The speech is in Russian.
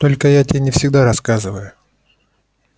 только я тебе не всегда рассказываю